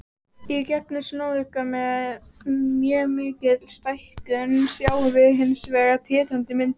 Í gegnum sjónauka, með mjög mikilli stækkun, sjáum við hins vegar tindrandi myndir.